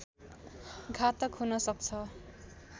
घातक हुन सक्छ